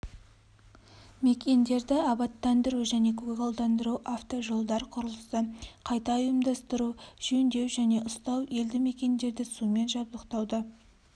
мекендерді абаттандыру мен көгалдандыру автожолдар құрылысы қайта ұйымдастыру жөндеу және ұстау елді мекендерді сумен жабдықтауды